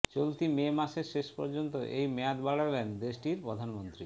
চলতি মে মাসের শেষ পর্যন্ত এই মেয়াদ বাড়ালেন দেশটির প্রধানমন্ত্রী